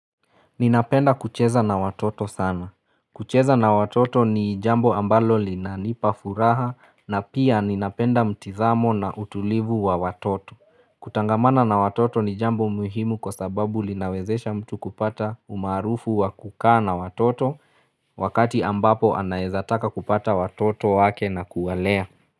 Ninapenda kucheza na watoto sana. Kucheza na watoto ni jambo ambalo lina nipa furaha na pia ninapenda mtizamo na utulivu wa watoto. Kutangamana na watoto ni jambo muhimu kwa sababu linawezesha mtu kupata umarufu wa kukaa na watoto wakati ambapo anaeza taka kupata watoto wake na kuwalea.